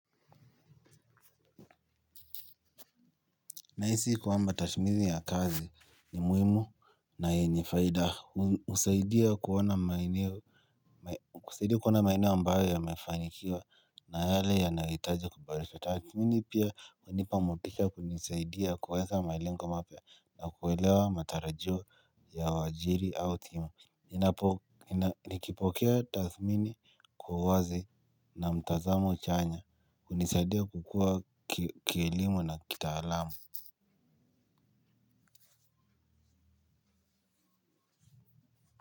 Nahisi kwamba tashmizi ya kazi ni muhimu na yenye faida husaidia kuona maeneo ambayo yamefanikiwa na yale yanahitaji kuboresha. Tathmini pia hunipa motisha kunisaidia kuweza malengo mapya na kuelewa matarajio ya wajiri au timu. Ninapo nikipokea tathmini kwa uwazi na mtazamo chanya hunisaidia kukua kielimu na kitaalamu.